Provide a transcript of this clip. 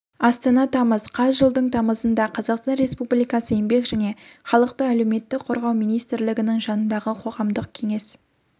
астана тамыз қаз жылдың тамызында қазақстан республикасы еңбек және халықты әлеуметтік қорғау министрлігінің жанындағы қоғамдық кеңес